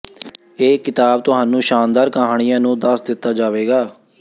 ਇਹ ਿਕਤਾਬ ਤੁਹਾਨੂੰ ਸ਼ਾਨਦਾਰ ਕਹਾਣੀਆ ਨੂੰ ਦੱਸ ਦਿੱਤਾ ਜਾਵੇਗਾ